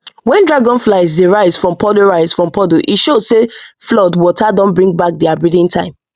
when dragonflies dey rise from puddle rise from puddle e show say flood water don bring back their breeding time